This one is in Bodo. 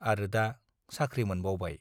आरो दा साख्रि मोनबावबाय ।